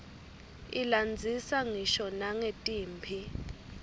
ilandzisa ngisho nangetimphi